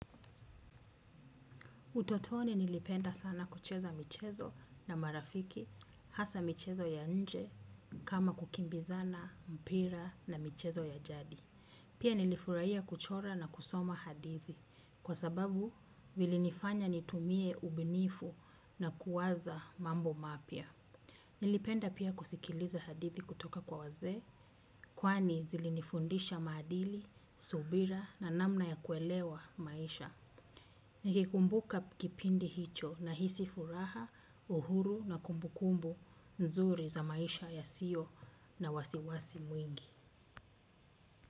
Utotoni nilipenda sana kucheza michezo na marafiki hasa michezo ya nje kama kukimbizana, mpira na michezo ya jadi. Pia nilifurahia kuchora na kusoma hadithi kwa sababu vilinifanya nitumie ubunifu na kuwaza mambo mapya. Nilipenda pia kusikiliza hadithi kutoka kwa wazee kwani zilinifundisha maadili, subira na namna ya kuelewa maisha. Nikikumbuka kipindi hicho nahisi furaha uhuru na kumbukumbu nzuri ya maisha yasiyo na wasiwasi mwingi.